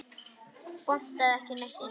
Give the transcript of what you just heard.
Botnaði ekki neitt í neinu.